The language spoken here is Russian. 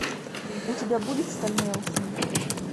у тебя будет стальной алхимик